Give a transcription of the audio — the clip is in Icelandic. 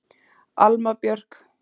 Alma Björk.